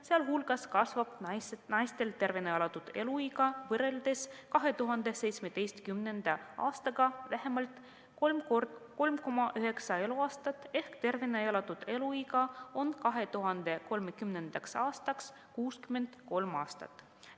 Sealhulgas kasvab naiste tervena elatud eluiga võrreldes 2017. aastaga vähemalt 3,9 eluaastat ehk tervena elatud eluiga on 2030. aastaks 63 aastat.